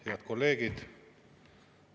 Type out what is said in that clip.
Head kolleegid!